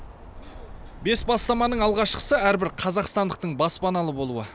бес бастаманың алғашқысы әрбір қазақстандықтың баспаналы болуы